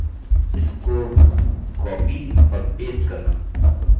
अतः हमारे पास एकसाथ पाँच हैं